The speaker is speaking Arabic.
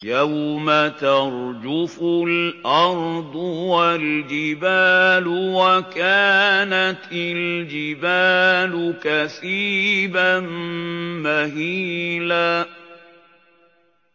يَوْمَ تَرْجُفُ الْأَرْضُ وَالْجِبَالُ وَكَانَتِ الْجِبَالُ كَثِيبًا مَّهِيلًا